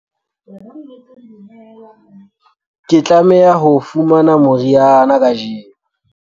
ke tlameha ho fumana moriana kajeno